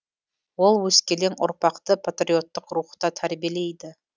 ол өскелең ұрпақты патриоттық рухта тәрбиелейді